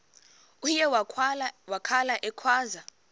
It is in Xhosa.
uye wakhala ekhwaza